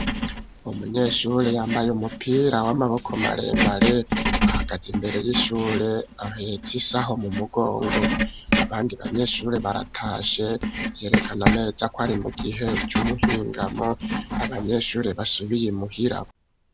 Umunyeshure yambaye umupira w'amaboko maremare ahagaze imbere y'ishure ahetse isaho mu mugongo, abandi banyeshure baratashe yerekana neza ko ari mu gihe c'umuhingamo abanyeshure basubiye imuhira.